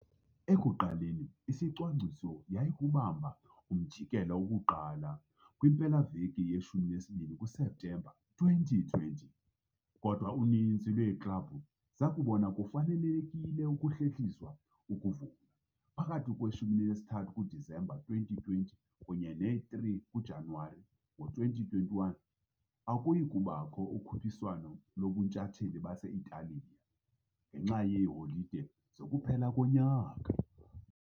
Ekuqaleni, isicwangciso yayikukubamba umjikelo woku-1 kwimpelaveki ye-12 kuSeptemba 2020, kodwa uninzi lweeklabhu zakubona kufanelekile ukuhlehliswa ukuvulwa. Phakathi kwe-23 kuDisemba, 2020 kunye ne-3 kuJanuwari, ngo-2021 akuyi kubakho ukhuphiswano lobuNtshatsheli base-Italiya, ngenxa yeeholide zokuphela konyaka.